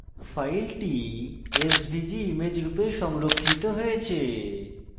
file svg image রূপে সংরক্ষিত হয়েছে